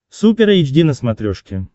супер эйч ди на смотрешке